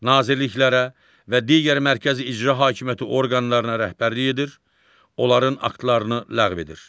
Nazirliklərə və digər mərkəzi icra hakimiyyəti orqanlarına rəhbərlik edir, onların aktlarını ləğv edir.